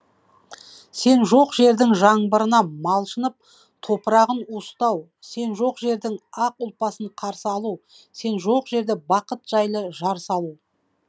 сен жоқ жердің жаңбырына малшынып топырағын уыстау сен жоқ жердің ақ ұлпасын қарсы алу сен жоқ жерде бақыт жайлы жар салу